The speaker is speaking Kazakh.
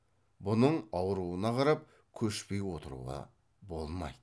бұның ауруына қарап көшпей отыруға болмайды